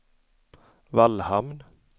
Vallhamn